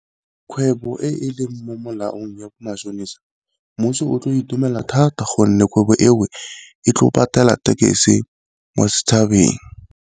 Kgwebo e e leng mo molaong ya bo matšhonisa mmuso o tlo itumela thata gonne kgwebo eo e tlo patela mo setšhabeng.